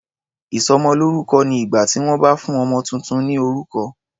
Ìsọmọlórúkọ ni ìgbà tí wọ́n bá fún ọmọ tuntun ní orúkọ.